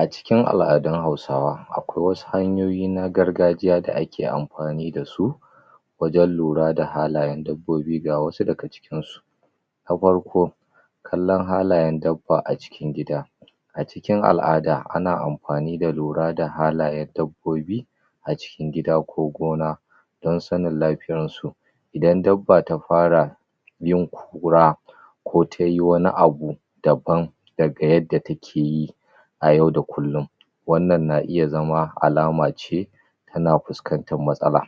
A cikin al'adun Hausawa akwai wasu hanyoyi na gargajiya da ake amfani da su wajen lura da halayen dabbobi ga wasu daga cikinsu. na farko kallon halayen dabba a cikin gida a cikin al'ada ana amfani da lura da halayen dabbobi a cikin gida ko gona don sanin lafiyansu. Idan dabba ta fara yin kura ko ta yi wani abu daban daga yadda take yi a yauda kullum. wannan na iya zama alama ce tana fuskantar matsala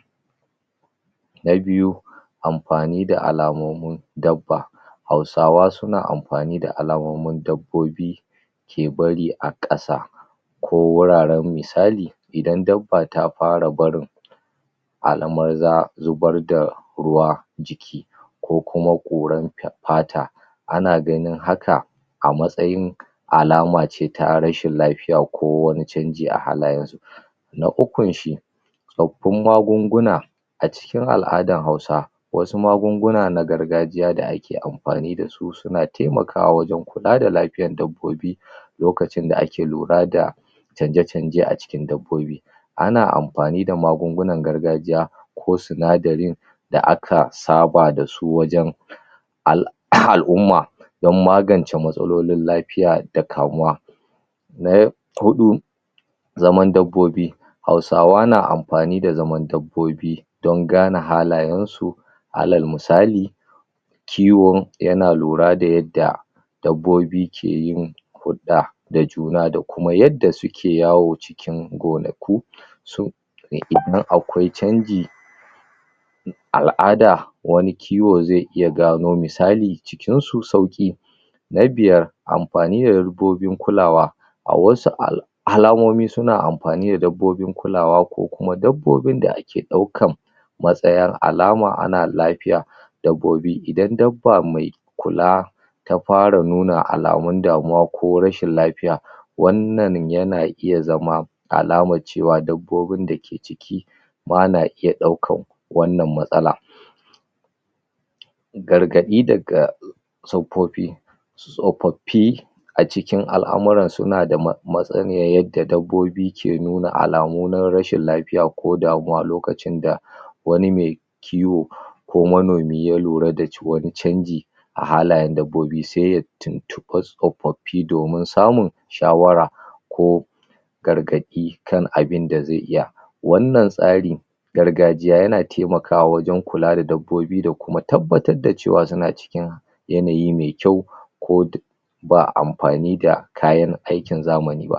na biyu amfani da alamomin dabba Hausawa suna amfani da alamomin dabbobi ke bari a ƙasa ko wuraren misali idan dabba ta ƙara barin alamun zubar da ruwan jiki ko kuma ƙuran fata, ana ganin haka a matsayin alama ce ta rashin lafiya ko wani canji a halayen na ukunsu tsaffun magunguna, a cikin al'adar Hausa wasu magunguna na gargajiya da ake amfani da su suna taimakawa wajen kiwon dabbobi lokacin da ake lura da canje-canje a cikin dabbobi. ana amfani da magungunan gargajiya ko sinadarin da aka saba da su wajen al'umma don magance matsalolin lafiya da kamuwa na huɗu zaman dabbobi Hausawa na amfani da zaman dabbobi don gane halayensu alal misali kiwo yana lura da yadda dabbobi ke yin huɗɗa da juna da kuma yadda suke yawa cikin gonaki su ne imma akwai canji Al'ada wani kiwo zai iya gano misali cikinsu sauƙi Na biyar amfani da dabbobin kulawa A wasu alamomi suna amfani da dabbobin kulawa ko kuma dabbobin da ake ɗaukan matsaya alama ana lafiya dabbobi idan dabba mai kula ta fara nuna alamun damuwa ko rashin lafiya wannan yana iya zama alamar cewa dabbobin da ke cikin ma na iya ɗaukar wannan matsala. gargaɗi daga tsofaffi tsofaffi a cikin al'amura suna da masaniyar yadda dabbobi ke nuna alamu na rashin lafiya ko damuwa lokacin da wani mai kiwo ko manomi ya lura da wani canji a halayen dabbobi sai ya tuntuɓa tsofaffi domin samun shawara ko gargaɗi kan abun da zai iya wannan tsari gargajiya yana taimakawa wajen kula da dabbobi da kuma tabbatar da cewa suna cikin yanayi mai kyau ko duk ba amfani da kayan zamani ba.